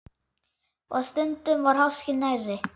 Og stundum var háskinn nærri.